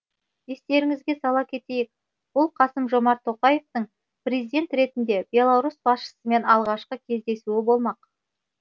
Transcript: естеріңізге сала кетейік бұл қасым жомарт тоқаевтың президент ретінде беларусь басшысымен алғашқы кездесуі болмақ